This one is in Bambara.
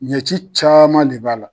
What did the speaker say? Ɲɛci caman de b'a la.